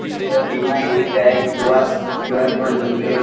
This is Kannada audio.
ಈದ್ ಭೀಮಾಯ್ ಯು.ಪಿ.ಐ ಕ್ಯೂ ಆಸ್ ಕ್ಯೂ.ಆರ್ ಕೋಡ್ ಅಂತ್ ಅನ್ರಿ.